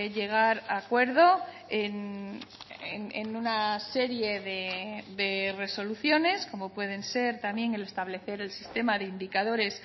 llegar a acuerdo en una serie de resoluciones como pueden ser también el establecer el sistema de indicadores